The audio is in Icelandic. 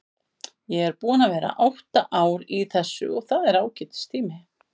Ég er búinn að vera átta ár í þessu og það er ágætis tími.